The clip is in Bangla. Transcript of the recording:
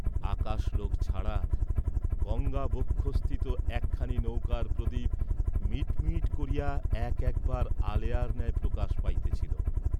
আকাশলোক ছাড়া গঙ্গা বক্ষঃস্থিত একখানি নৌকার প্রদীপ মিট মিট করিয়া এক একবার আলেয়ার ন্যায় প্রকাশ পাইতেছিল।